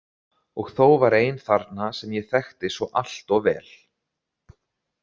Og þó var ein þarna sem ég þekkti svo allt of vel.